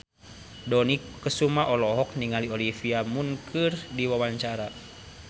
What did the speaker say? Dony Kesuma olohok ningali Olivia Munn keur diwawancara